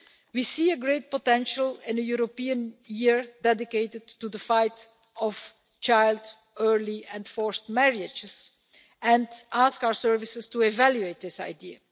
We see great potential in a European year dedicated to the fight against child, early and forced marriages, and we will ask our services to evaluate this idea.